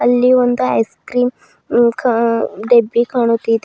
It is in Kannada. ಇಲ್ಲಿ ಒಂದು ಐಸ್ ಕ್ರೀಮ್ ಕಾ ಡಬ್ಬಿ ಕಾಣುತ್ತಿದೆ.